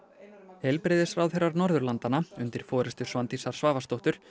heilbrigðisráðherrar Norðurlandanna undir forystu Svandísar Svavarsdóttur